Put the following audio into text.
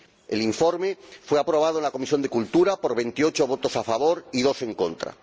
El informe fue aprobado en la Comisión de Cultura y Educación por 28 votos a favor y 2 en contra.